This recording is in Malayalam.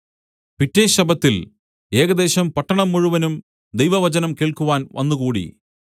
പിറ്റെ ശബ്ബത്തിൽ ഏകദേശം പട്ടണം മുഴുവനും ദൈവവചനം കേൾക്കുവാൻ വന്നുകൂടി